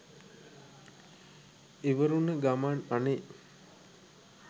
ඉවර වුන ගමන් අනේ